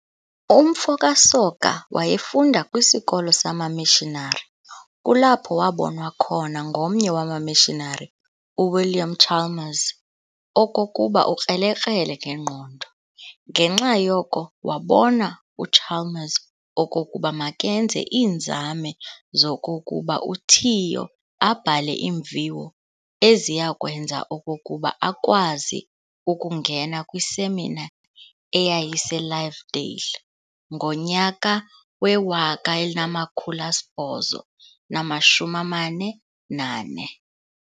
Umfo kaSoga wayefunda kwisikolo sama-missionary, kulapho wabonwa khona ngomnye wama-missionary uWilliam Chalmers okokuba ukrelekrele ngengqondo. Ngenxa yoko wabona uChalmers okokuba makenze iinzame zokokuba uTiyo abhale iimviwo eziyakwenza okokuba akwazi ukungena kwisemina eyayise-Lovedale ngo1844.